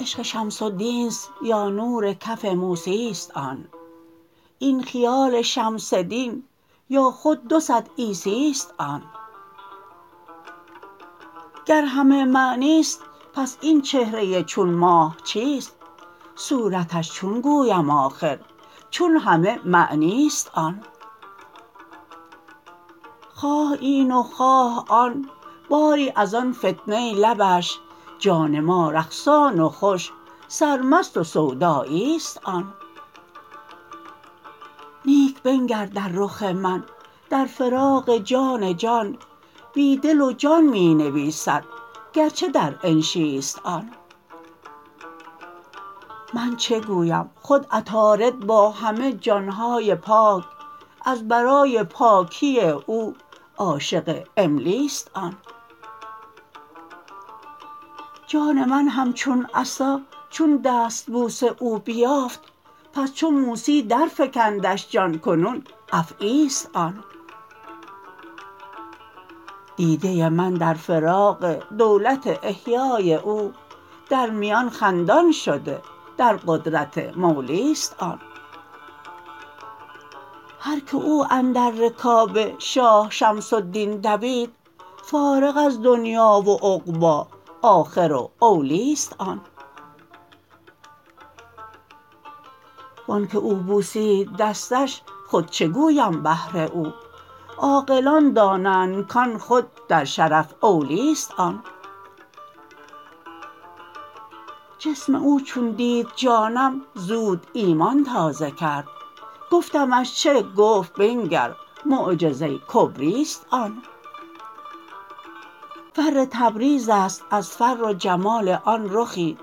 عشق شمس الدین است یا نور کف موسی است آن این خیال شمس دین یا خود دو صد عیسی است آن گر همه معنی است پس این چهره چون ماه چیست صورتش چون گویم آخر چون همه معنی است آن خواه این و خواه آن باری از آن فتنه لبش جان ما رقصان و خوش سرمست و سودایی است آن نیک بنگر در رخ من در فراق جان جان بی دل و جان می نویسد گرچه در انشی است آن من چه گویم خود عطارد با همه جان های پاک از برای پاکی او عاشق املی است آن جان من همچون عصا چون دستبوس او بیافت پس چو موسی درفکندش جان کنون افعی است آن دیده من در فراق دولت احیای او در میان خندان شده در قدرت مولی است آن هرک او اندر رکاب شاه شمس الدین دوید فارغ از دنیا و عقبی آخر و اولی است آن و آنک او بوسید دستش خود چه گویم بهر او عاقلان دانند کان خود در شرف اولی است آن جسم او چون دید جانم زود ایمان تازه کرد گفتمش چه گفت بنگر معجزه کبری است آن فر تبریز است از فر و جمال آن رخی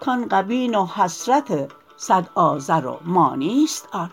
کان غبین و حسرت صد آزر و مانی است آن